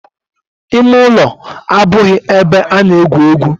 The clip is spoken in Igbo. Ime ulo abughi ebe a na-egwu egwu.